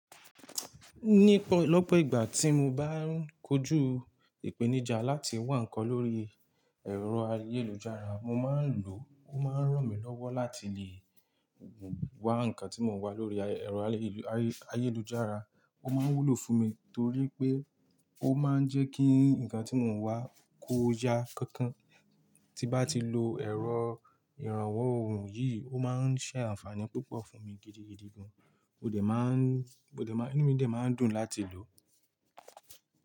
Ní pọ lọpọ ìgbà tí mo bá ń kojú ìpèníjà láti wá nǹkan lórí ẹ̀rọ ayélujára, mo máa ń lo, ó máa ń ràn mí lọ́wọ́ láti lè wá nǹkan tí mo wá lórí ẹ̀rọ ayélujára. Ó máa ń wúlò fún mi torí pé ó máa ń jẹ́ kí nǹkan tí mo ń wá kó yá kánkán. Ti n bá ti lo ẹ̀rọ ìrànwọ́ ohùn yìí, ó máa ń ṣe àǹfààní púpọ̀ fún mi gidigidi gan. Ó dẹ̀ máa ń, ó dẹ̀ máa ń, inú mi dẹ̀ máa ń dùn láti lò ó.